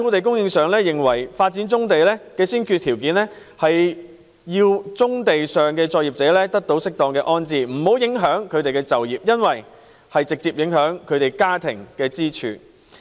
工聯會認為發展棕地的先決條件是，要適當安置棕地上的作業者，不影響他們的就業，因為這會直接影響其家庭收入。